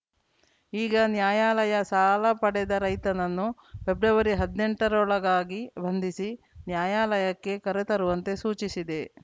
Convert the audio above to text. ಈಗ ನ್ಯಾಯಾಲಯ ಸಾಲ ಪಡೆದ ರೈತನನ್ನು ಫೆಬ್ರವರಿ ಹದ್ನೆಂಟರೊಳಗಾಗಿ ಬಂಧಿಸಿ ನ್ಯಾಯಾಲಯಕ್ಕೆ ಕರೆತರುವಂತೆ ಸೂಚಿಸಿದೆ